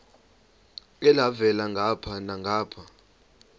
elhavela ngapha nangapha